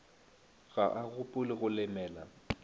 ga a gopole go lemela